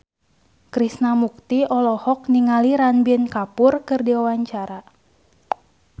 Krishna Mukti olohok ningali Ranbir Kapoor keur diwawancara